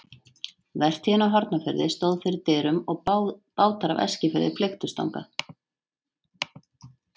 Vertíðin á Hornafirði stóð fyrir dyrum og bátar af Eskifirði flykktust þangað.